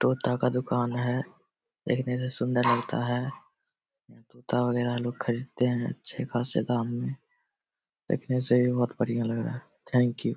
दो तरह का दुकान है। देखने से सुंदर लगता है और यहां लोग खरीदते है अच्छे खासे दाम में देखने से ही बहुत बढ़िया लग रहा है थैंक यू ।